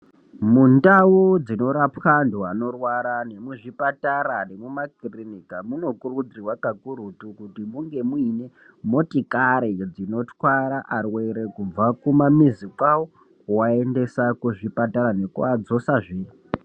Mundau dzinorapwa antu anorwara nemuzvipatara nemumakirinika munokurudzirwa kakurutu kuti munge muine motikari dzinotwara arwere kubva kumamizi kwavo kuaendesa kuzvipatara nekuadzosazve.